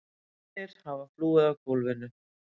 Hinir hafa flúið af gólfinu.